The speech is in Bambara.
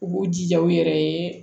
U b'u jija u yɛrɛ ye